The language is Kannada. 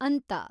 ಅಂತ